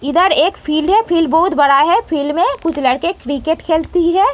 इधर एक फील्ड है। फील्ड बहोत बड़ा है। फील्ड में कुछ लड़के क्रिकेट खेलती हैं।